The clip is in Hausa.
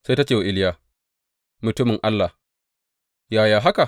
Sai ta ce wa Iliya, Mutumin Allah, yaya haka?